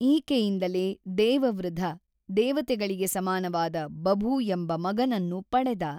ಈಕೆಯಿಂದಲೇ ದೇವವೃಧ ದೇವತೆಗಳಿಗೆ ಸಮಾನವಾದ ಬಭು ಎಂಬ ಮಗನನ್ನು ಪಡೆದ.